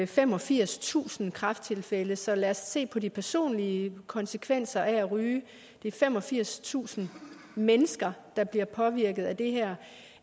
femogfirstusind kræfttilfælde så lad os se på de personlige konsekvenser af at ryge det er femogfirstusind mennesker der bliver påvirket af det her